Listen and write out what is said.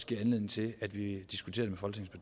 give anledning til at vi diskuterer